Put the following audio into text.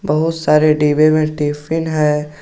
बहुत सारे डिब्बे मे टिफिन है।